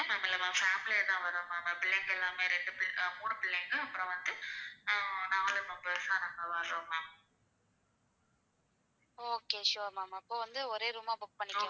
Okay sure ma'am அப்ப வந்து ஒரே room ஆ book பண்ணிக்கலாம்.